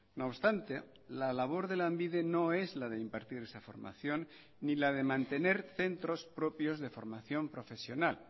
no obstante la labor de lanbide no es la de impartir esa formación ni la de mantener centros propios de formación profesional